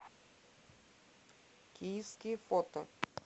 киевский фото